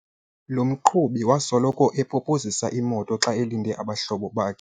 Lo mqhubi wasoloko epopozisa imoto xa elinde abahlobo bakhe.